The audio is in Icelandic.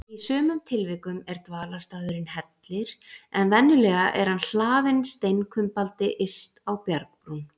Í sumum tilvikum er dvalarstaðurinn hellir, en venjulega er hann hlaðinn steinkumbaldi yst á bjargbrún.